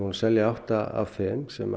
að selja átta af þeim sem